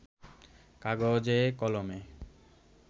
কাগজে কলমে